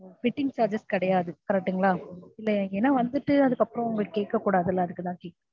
fitting charges கிடையாது correct ங்களா? இல்லை ஏன்னா வந்துட்டு அதுக்கப்பரம் அவங்க கேக்க கூடாது இல்ல அதுக்குதான் கேக்குறேன்